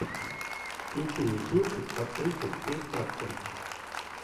включи мне кинчик с актрисой кейт хадсон